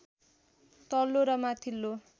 तल्लो र माथिल्लो